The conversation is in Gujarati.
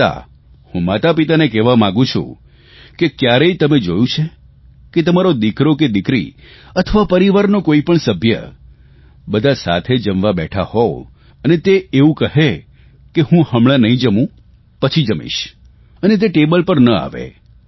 આમ છતાં હું માતાપિતાને કહેવા માંગું છું કે કયારેય તમે જોયું છે કે તમારા દિકરો કે દિકરી અથવા પરિવારનો કોઇપણ સભ્ય બધા સાથે જમવા બેઠા હોય અને તે એવું કહે કે હું હમણાં નહીં જમું પછી જમીશ અને તે ટેબલ પર ન આવે